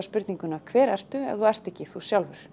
spurninguna hver ertu þegar þú ert ekki þú sjálfur